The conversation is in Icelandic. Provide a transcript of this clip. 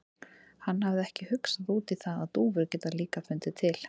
Hann hafði ekki hugsað út í það að dúfur geta líka fundið til.